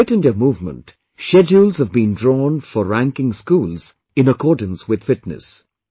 In the Fit India Movement, schedules have been drawn for ranking schools in accordance with fitness